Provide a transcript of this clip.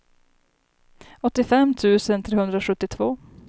åttiofem tusen trehundrasjuttiotvå